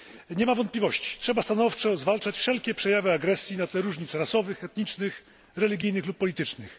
Nie ma wątpliwości, trzeba stanowczo zwalczać wszelkie przejawy agresji na tle różnic rasowych, etnicznych, religijnych lub politycznych.